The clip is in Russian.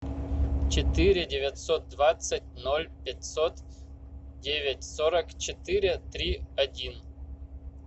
четыре девятьсот двадцать ноль пятьсот девять сорок четыре три один